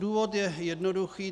Důvod je jednoduchý.